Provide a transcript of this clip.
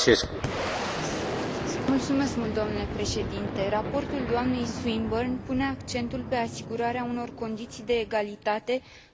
Raportul doamnei Swinburne pune accentul pe asigurarea unor condiții de egalitate între sistemele multilaterale de tranzacționare.